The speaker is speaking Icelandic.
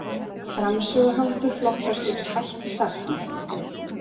Framsöguháttur flokkast undir hætti sagna.